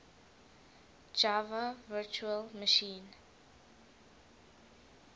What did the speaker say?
java virtual machine